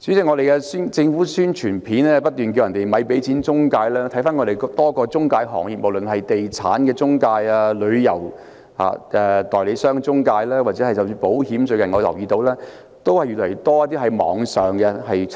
主席，政府的宣傳片不斷呼籲市民別給錢中介，但在本港多個中介行業中——無論是地產中介、旅遊代理商中介或者保險中介——都越來越多人透過網絡